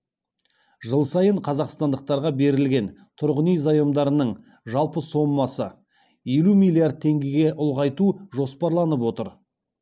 жыл сайын қазақстандықтарға берілген тұрғын үй заемдарының жалпы сомасын елу миллиард теңгеге ұлғайту жоспарланып отыр